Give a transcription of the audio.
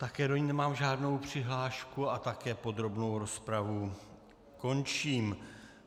Také do ní nemám žádnou přihlášku a také podrobnou rozpravu končím.